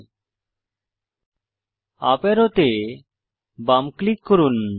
UP texture অ্যারোতে বাম click করুন